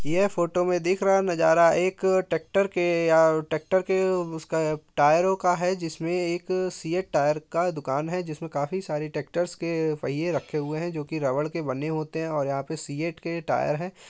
यहां फोटो में दिख रहा है नजारा एक ट्रैक्टर के अ के उसका टायरों का है जिसमे एक सीएट टायरों का दुकान है जिसमे काफी सारे ट्रैक्टर्स के पहिए रखे हुए हैं जो की रबर के बने होते है और यहाँ पे सीएट के टायर हैं |